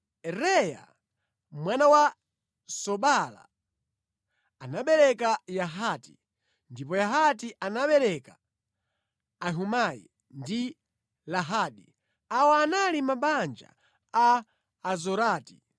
Reaya mwana wa Sobala anabereka Yahati, ndipo Yahati anabereka Ahumai ndi Lahadi. Awa anali mabanja a Azorati.